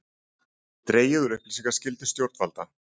Dregið úr upplýsingaskyldu stjórnvalda